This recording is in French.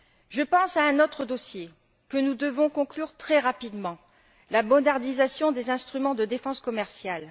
Je pense à un autre dossier, que nous devons conclure très rapidement la modernisation des instruments de défense commerciale.